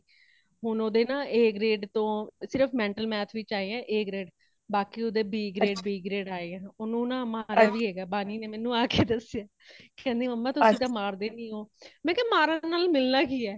ਹੁਣ ਉਦ੍ਹੇ ਨਾ A grade ਤੋਂ ,ਸਿਰਫ਼ mental math ਵਿਚ ਆਏ ਹੈ A grade, ਬਾਕੀ ਉਦ੍ਹੇ B grade, B grade ਆਏ ਹੈ |ਉਣੁ ਨਾ ਮਾਰਿਆਂ ਵੇ ਹੇਗਾ ਬੰਨੀ ਨੇ ਮੈਨੂੰ ਆਕੇ ਦੱਸਿਆ ,ਕੇਂਦੀ Mama ਤੁਸੀ ਤੇ ਮਾਰਦੇ ਨਹੀਂ ਹੋ | ਮੈਂ ਕਯਾ ਮਾਰਨ ਨਾਲ ਮਿਲਣਾ ਕੀ ਹੇ